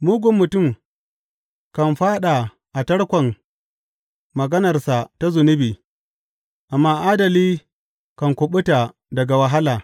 Mugun mutum kan fāɗa a tarkon maganarsa ta zunubi, amma adali kan kuɓuta daga wahala.